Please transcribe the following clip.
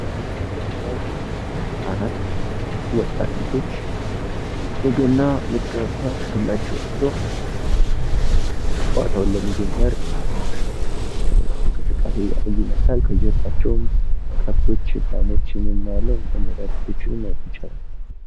ምስሉ ላይ እንደምናየው አራት ወጣት ልጆች የገና መጫወቻ ዱላቸውን ይዘው ጨዋታውን ለመጀመር የሚያደርጉትን እንቅስቃሴ የሚያሳይ ነው ።ከጀርባቸው ከብቶችን፣ ላሞችን እናያለን።